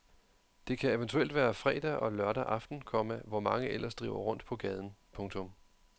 Det kan eventuelt være fredag og lørdag aften, komma hvor mange ellers driver rundt på gaden. punktum